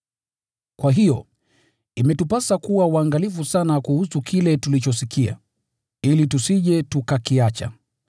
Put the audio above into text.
Kwa hiyo, imetupasa kuwa waangalifu sana kuhusu kile tulichosikia, ili tusije tukakiacha.